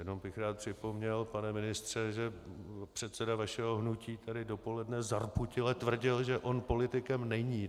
Jenom bych rád připomněl, pane ministře, že předseda vašeho hnutí tady dopoledne zarputile tvrdil, že on politikem není.